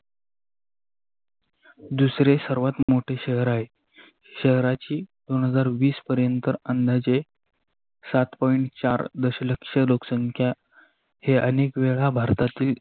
दूसरे सर्वात मोठ शहर आहे. शहराची दोन हजार विसपर्यंत अंदाजे सात पोईट चार दस लक्ष लोकसंख्या हे अनेक वेळा भारतातील